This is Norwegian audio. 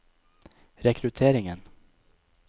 rekrutteringen